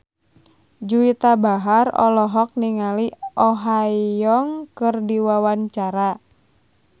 Juwita Bahar olohok ningali Oh Ha Young keur diwawancara